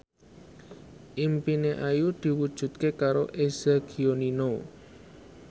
impine Ayu diwujudke karo Eza Gionino